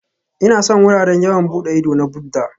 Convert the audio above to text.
Ina son wuraren yawon bude ido na Buddha